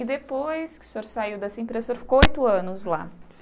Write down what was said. E depois que o senhor saiu dessa empressa, você ficou oito anos lá.